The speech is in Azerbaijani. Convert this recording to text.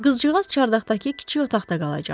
Qızcığaz çardaqdakı kiçik otaqda qalacaq.